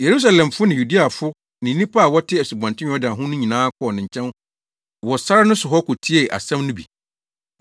Yerusalemfo ne Yudeafo ne nnipa a wɔte Asubɔnten Yordan ho no nyinaa kɔɔ ne nkyɛn wɔ sare no so hɔ kotiee asɛm no bi.